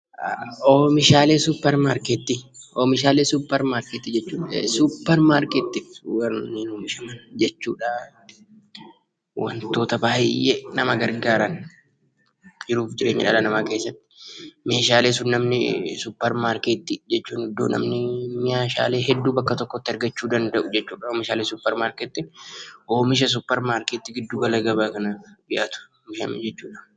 OOmishaalee suupparmaarkeetii jechuun suupparmaarkeetii keessatti warreen oomishaman jechuudha. Wantoota baay'ee nama gargaaran jiruu fi jireenya dhala namaa keessatti meeshaalee namni suupparmaarkeetii iddoo namni meeshaalee hedduu itti argachuu danda'u jechuudha. OOmisha suupparmaarkeetii giddu gala gabaa kanaaf dhiyaatu jechuudha.